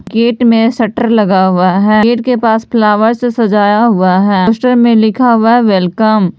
gate में shutter लगा हुआ है गेट के पास फ्लावर्स सजाया हुआ है पोस्टर में लिखा हुआ है वेलकम --